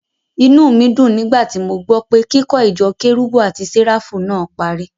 Inú mi dùn nígbà tí mo gbọ́ pé kíkó ìjọ kérúbù àti Séráfù naa parí.